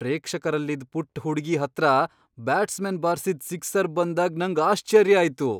ಪ್ರೇಕ್ಷಕರಲ್ಲಿದ್ ಪುಟ್ಟ ಹುಡುಗಿ ಹತ್ರ ಬ್ಯಾಟ್ಸ್ಮನ್ ಬಾರ್ಸಿದ್ ಸಿಕ್ಸರ್ ಬಂದಾಗ್ ನಂಗ್ ಆಶ್ಚರ್ಯ ಆಯ್ತು.